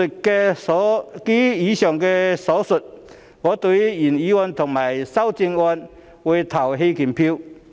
基於以上所述，我會對原議案及修正案投棄權票。